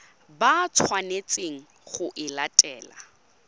ba tshwanetseng go e latela